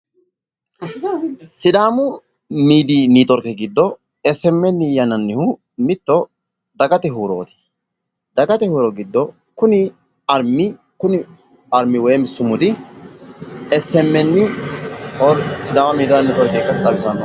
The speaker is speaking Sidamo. sidaamu miidiyi netiworke giddo SMN yinannihu mitto daggate huuroti daggate huuro giddo kunni arimi woyim sumudi SMN sidaama miidiya netiworke ikkasse xawisano.